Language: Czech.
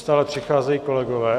Stále přicházejí kolegové.